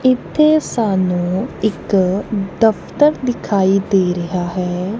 ਇੱਥੇ ਸਾਨੂੰ ਇੱਕ ਦਫ਼ਤਰ ਦਿਖਾਈ ਦੇ ਰਿਹਾ ਹੈ।